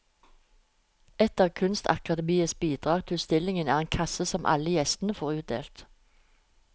Et av kunstakademiets bidrag til utstillingen er en kasse som alle gjestene får utdelt.